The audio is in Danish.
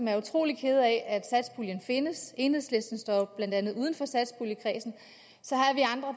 er utrolig kede af at satspuljen findes enhedslisten står jo blandt andet uden for satspuljekredsen